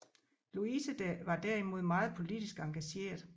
Louise var derimod meget politisk engageret